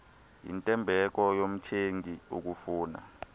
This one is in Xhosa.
yintembeko yomthengi ukufuna